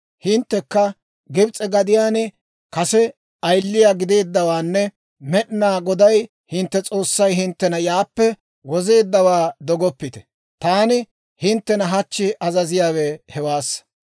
Hinttekka Gibs'e gadiyaan kase ayiliyaa gideeddawaanne Med'inaa Goday hintte S'oossay hinttena yaappe wozeeddawaa dogoppite. Taani hinttena hachchi azaziyaawe hewaassa.